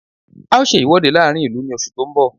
A ó ṣe ìwọ́de láàrín ìlú ní oṣù tó ń bọ̀